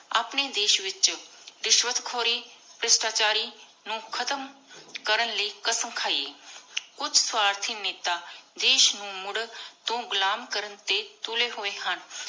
ਅਪਨੀ ਦੇਸ਼ ਵਿਚੋ ਰਿਸ਼ਵਤ ਖੋਰੀ ਭ੍ਰਿਸ਼ਟਾ ਚਾਰੀ ਨੂ ਖਤਮ ਕਰਨ ਲਾਏ ਕ਼ਾਸਮ ਖਾਈਏ । ਕੁਛ ਸਵਾਰਤੀ ਨੇਤਾ ਦੇਸ਼ ਨੂ ਮੁਰ ਤੂ ਘੁਲਮ ਕਰਨ ਟੀ ਤੁਲੀ ਹੋਏ ਹਨ।